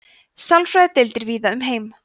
sálfræðideildir víða um heim